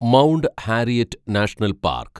mount Harriet National park